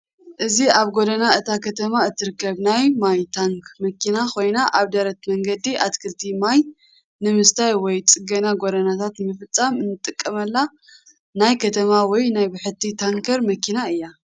እዚ ኣብ ጐደና እታ ከተማ እትርከብ ናይ ማይ ታንክ መኪና ኮይና ኣብ ደረት መንገዲ ኣትክልቲ ማይ ንምስታይ ወይ ጽገና ጐደናታት ንምፍጻም እትጥቀመላ ናይ ከተማ ወይ ናይ ብሕቲ ታንከር መኪና እያ ።